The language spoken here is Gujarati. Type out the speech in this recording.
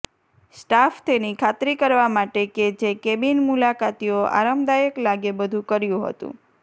સ્ટાફ તેની ખાતરી કરવા માટે કે જે કેબિન મુલાકાતીઓ આરામદાયક લાગે બધું કર્યું હતું